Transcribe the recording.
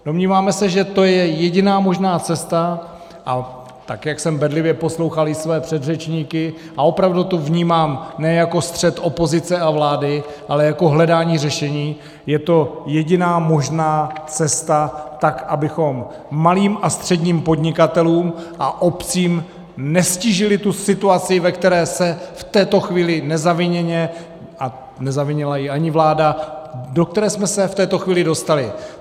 Domníváme se, že to je jediná možná cesta, a tak jak jsem bedlivě poslouchal i své předřečníky, a opravdu to vnímám ne jako střet opozice a vlády, ale jako hledání řešení, je to jediná možná cesta, tak abychom malým a středním podnikatelům a obcím neztížili tu situaci, ve které se v této chvíli nezaviněně, a nezavinila ji ani vláda, do které jsme se v této chvíli dostali.